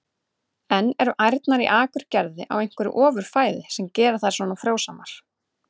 En eru ærnar í Akurgerð á einhverju ofur fæði sem gerir þær svona frjósamar?